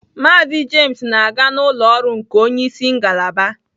Mazị James na-aga n'ụlọ ọrụ nke onye isi ngalaba